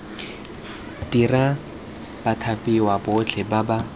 dira bathapiwa botlhe ba ba